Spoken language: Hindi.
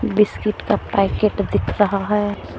बिस्किट का पैकेट दिख रहा है।